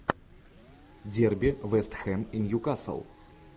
дерби вест хэм и ньюкасл